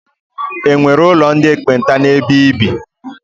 E nwere ụlọ ndị ekpenta n'ebe i bi?